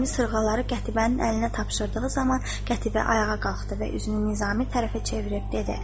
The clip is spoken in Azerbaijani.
Nizami sırğaları Qətibənin əlinə tapşırdığı zaman Qətibə ayağa qalxdı və üzünü Nizami tərəfə çevirib dedi: